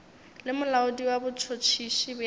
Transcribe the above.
le molaodi wa botšhotšhisi bja